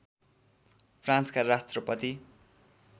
फ्रान्सका राष्ट्रपति